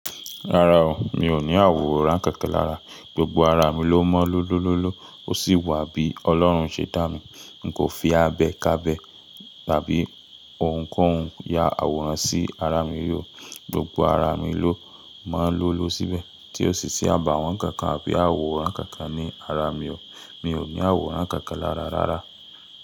Rárá o, mi ò ní àwòrán kankan lára, gbogbo ara mi ló mọ́ lọ́lọ́lọ́lọ́. Ó sì wà bí Ọlọ́run ṣe dá mi. N kò fi abẹ kábẹ̀ tàbí ohunkóhun ya àwòrán sí ara mi rí o. Gbogbo ara mi ló mọ́ lọ́lọ́ síbẹ̀, tí ó sì sí àbàwón kankan àbí àwòrán kankan ní ara mi o. Mi ò ní àwòrán kankan lára rárá.